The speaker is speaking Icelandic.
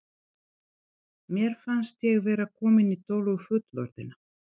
Mér fannst ég vera komin í tölu fullorðinna.